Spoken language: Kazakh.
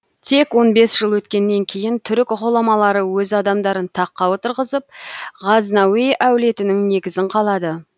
тек он бес жыл өткеннен кейін түрік ғұламалары өз адамдарын таққа отырғызып ғазнауи әулетінің негізін қалады